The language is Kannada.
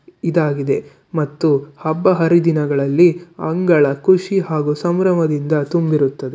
ಇದಾಗಿದೆ ಮತ್ತು ಹಬ್ಬ ಹರಿದಿನಗಳಲ್ಲಿ ಅಂಗಳ ಖುಷಿ ಹಾಗೂ ಸಂಭ್ರಮದಿಂದ ತುಂಬಿರುತ್ತದೆ.